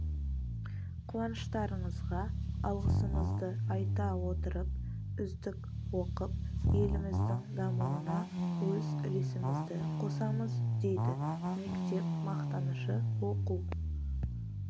қуаныштарыңызға алғысымызды айта отырып үздік оқып еліміздің дамуына өз үлесімізді қосамыз дейді мектеп мақтанышы оқу